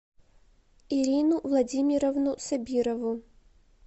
ирину владимировну сабирову